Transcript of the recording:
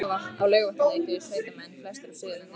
Á Laugarvatn leituðu sveitamenn, flestir af Suðurlandi